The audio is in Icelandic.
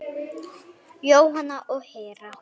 Jóhanna og Hera.